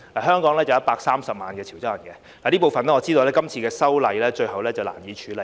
香港有130萬潮州人，這部分我知道今次修例最後難以處理。